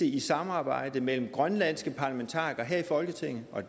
i samarbejde mellem grønlandske parlamentarikere her i folketinget og